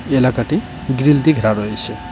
এলাকাটি গ্রীল দিয়ে ঘেরা রয়েছে।